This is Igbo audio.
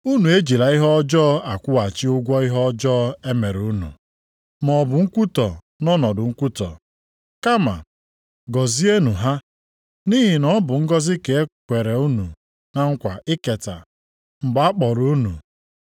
Unu ejila ihe ọjọọ akwụghachi ụgwọ ihe ọjọọ e mere unu, maọbụ nkwutọ nʼọnọdụ nkwutọ. Kama gọzienụ ha, nʼihi na ọ bụ ngọzị ka e kwere unu na nkwa iketa, mgbe a kpọrọ unu.